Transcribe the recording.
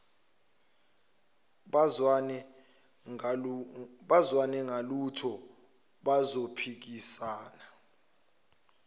bazwane ngalutho bazophikisana